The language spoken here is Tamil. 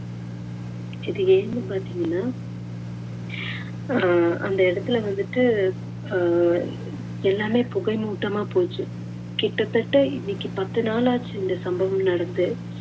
இது ஏன்னு பாத்தீங்கன்னா அஹ் அந்த இடத்துல வந்துட்டு அஹ் எல்லாமே புகைமூட்டமா போச்சு. கிட்டத்தட்ட இன்னைக்கு பத்து நாளாச்சு இந்த சம்பவம் நடந்து